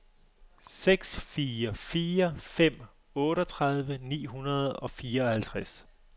seks fire fire fem otteogtredive ni hundrede og fireoghalvtreds